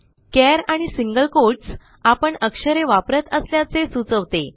चार आणि single quotes आपण अक्षरे वापरत असल्याचे सुचवते